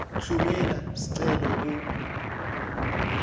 tfumela sicelo ku